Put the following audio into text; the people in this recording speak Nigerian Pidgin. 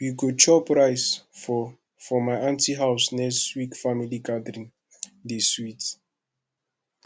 we go chop rice for for my aunty house next week family gathering dey sweet